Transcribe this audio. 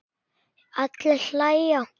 Allir hlæja.